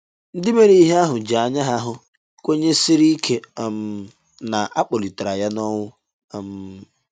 Ndị mere ihe ahụ ji anya ha hụ kwenyesiri ike um na a kpọlitere ya n'ọnwụ um.